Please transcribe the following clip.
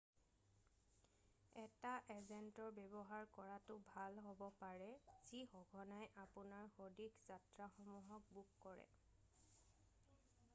এটা এজেন্টৰ ব্যৱহাৰ কৰাটো ভাল হ'ব পাৰে যি সঘনাই আপোনাৰ সদৃশ যাত্ৰাসমূহক বুক কৰে৷